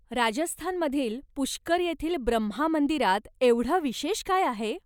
राजस्थानमधील पुष्कर येथील ब्रह्मा मंदिरात एवढं विशेष काय आहे?